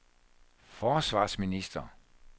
forsvarsminister